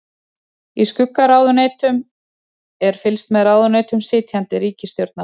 Í skuggaráðuneytum er fylgst með ráðuneytum sitjandi ríkisstjórnar.